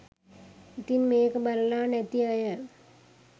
ඉතින් මේක බලලා නැති අය